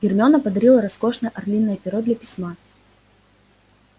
гермиона подарила роскошное орлиное перо для письма